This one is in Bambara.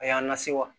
A y'an lase wa